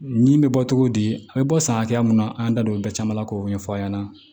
Ɲi bɛ bɔ cogo di a bɛ bɔ san hakɛya mun na an da don o bɛɛ caman la k'o ɲɛfɔ a ɲɛna